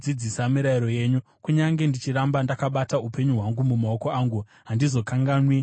Kunyange ndichiramba ndakabata upenyu hwangu mumaoko angu, handizokanganwi murayiro wenyu.